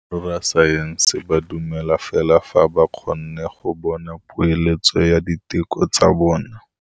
Borra saense ba dumela fela fa ba kgonne go bona poeletsô ya diteko tsa bone.